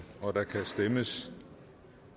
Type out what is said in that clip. og der kan stemmes